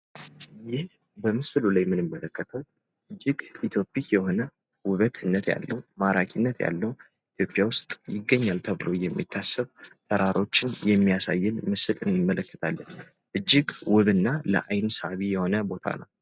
ይህ በምስሉ ላይ የምንመለከተው እጅግ ሳቢና ለአይን ማራኪ የሆነ ኢትዮጵያ ውስጥ ይገኛል ተብሎ የሚታሰብ ተራራ ነው።